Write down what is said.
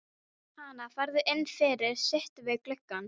Hana, farðu inn fyrir, sittu við gluggann.